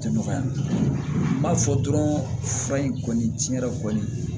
Tɛ nɔgɔya n b'a fɔ dɔrɔn fura in kɔni tiɲɛ yɛrɛ la kɔni